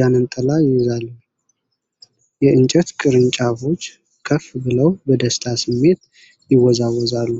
ዣንጥላ ይዟል። የእፅዋት ቅርንጫፎች ከፍ ብለው በደስታ ስሜት ይወዛወዛሉ።